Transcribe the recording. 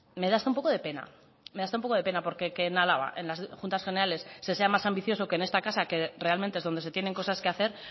me da hasta un poco de pena me da hasta un poco de pena porque que en álava en las juntas generales se sea más ambicioso que en esta casa que realmente es donde se tienen cosas que hacer